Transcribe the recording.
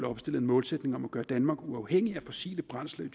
opstillet en målsætning om at gøre danmark uafhængig af fossile brændsler i